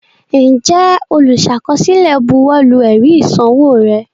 Ǹjẹ́ olùsàkọsílẹ̀ buwọ́lu ẹ̀rí ìsanwó rẹ?